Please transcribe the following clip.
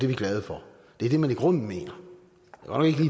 vi glade for det er det man i grunden mener